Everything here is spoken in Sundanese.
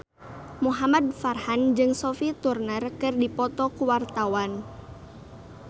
Muhamad Farhan jeung Sophie Turner keur dipoto ku wartawan